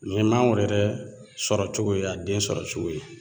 Ni ye mangoro yɛrɛ sɔrɔcogo ye a den sɔrɔcogo ye